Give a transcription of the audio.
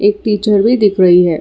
Teacher भी दिख रही है।